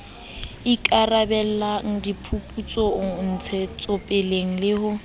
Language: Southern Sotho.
ikarabellang diphuputsong ntshetsopeleng le ho